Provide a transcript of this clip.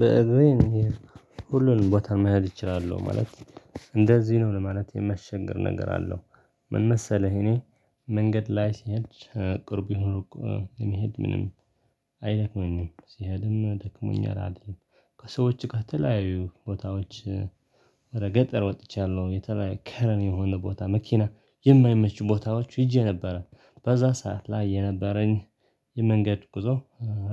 በእግዚአብሔር ሁሉንም ቦታ መሄድ እችላለሁ ማለት እንደዚህ ነው ለማለት የሚያስቸግር ነገር አለው ምን መሰለህ እኔ መንገድ ላይ ሲሄድ ቅርብ ይሁን ሩቅ በመሄድ ምንም አይደክመኝም ሲሄድም ደክሞኛል አይደለም ከሰዎች ከተለያዩ ቦታዎች ወደ ገጠር ወጥቻለሁ የተለያየ ከረን የሆነ ቦታ መኪና የማይመች ቦታዎች ሂጀ ነበረ በዛ ሰዓት ላይ የነበረኝ የመንገድ ጉዞ